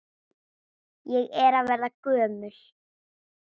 Ég er að verða gömul.